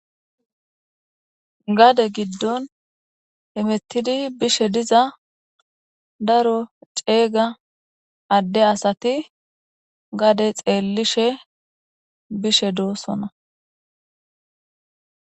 Gade giddon hemettidi bishe diza daro ceega adde asati gade xeellishe bishe doossona.